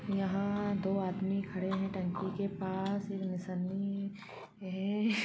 यहां आ दो आदमी खड़े है टंकी के पास इनमे है --